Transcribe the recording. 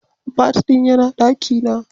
Bat din yana daki na.